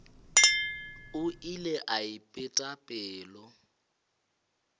o ile a ipeta pelo